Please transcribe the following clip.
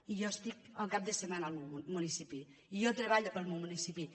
i jo estic el cap de setmana al meu municipi i jo treballo pel meu municipi